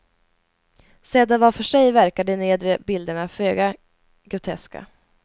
Sedda var för sig verkar de nedre bilderna föga groteska.